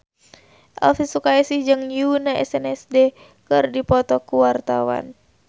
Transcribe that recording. Elvi Sukaesih jeung Yoona SNSD keur dipoto ku wartawan